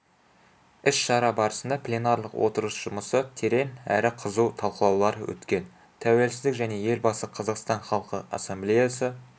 іс-шара барысында пленарлық отырыс жұмысы терең әрі қызу талқылаулар өткен тәуелсіздік және елбасы қазақстан халқы ассамблеясы